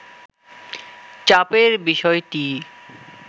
চাপের বিষয়টিই